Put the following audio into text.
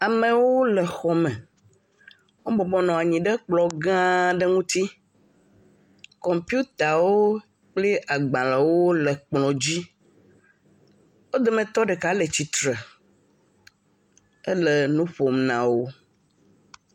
Amewo le xɔme. Wo bɔbɔ nɔ anyi ɖe kplɔ gã aɖe ŋuti. Kɔmpitawo kple agbalẽwo le ekplɔ dzi. Wo dometɔ ɖeka le tsitre hele nuƒom nawò.